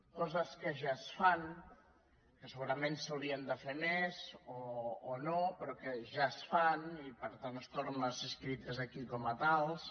coses que ja es fan que segurament s’haurien de fer més o no però que ja es fan i per tant estan aquí escrites com a tals